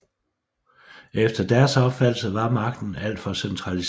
Efter deres opfattelse var magten alt for centraliseret